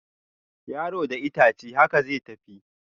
Yaro da itace, haka zai tafi